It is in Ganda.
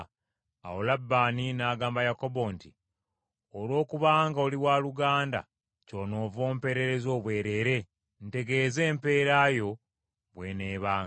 Awo Labbaani n’agamba Yakobo nti, “Olw’okubanga oli waluganda ky’onoova ompeerereza obwereere? Ntegeeza empeera yo bw’eneebanga.”